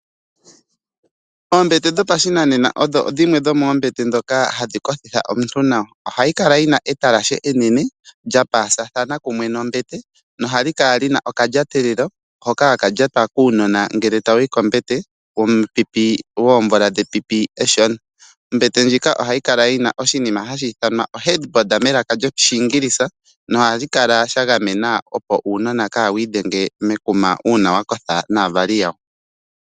Oombete dhopa shinanena odho dhimwe dho moombete ndhoka hadhi kothitha omuntu nawa, ohayi kala yina etalashe enene lyoopalathana nombete nohayi kala yina okalyatelelo hono haka lyatwa kuunona ngele ta wuyi kombete wepipi eshona. Ombete ndjino ohayi kala yina omutse ngono hagu keelele, opo uunona kawu idhenge mekuma uuna wa kotha naavali yawo.